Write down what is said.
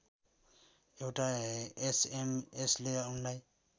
एउटा एसएमएसले उनलाई